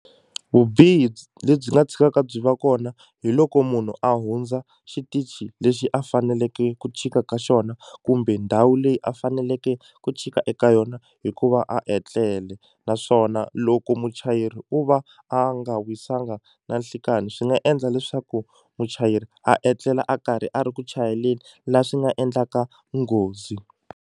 Vubihi lebyi nga tshikaka byi va kona hi loko munhu a hundza xitichi lexi a faneleke ku chika ka xona kumbe ndhawu leyi a faneleke ku chika eka yona hikuva a tlele naswona loko muchayeri o va a nga wisanga na nhlikani swi nga endla leswaku muchayeri a etlela a karhi a ri ku chayeleni la swi nga endlaka nghozi.